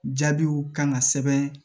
Jaabiw kan ka sɛbɛn